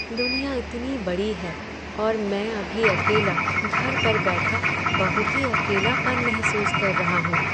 दुनिया इतनी बड़ी है और मैं अभी अकेला घर पर बैठा, बहुत ही अकेलापन महसूस कर रहा हूँ।